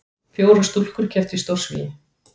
Fjórar stúlkur kepptu í stórsvigi